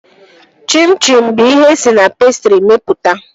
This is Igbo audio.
Chim chim bụ ihe esi na pestrị mepụta